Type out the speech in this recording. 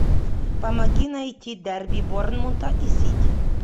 помоги найти дерби борнмута и сити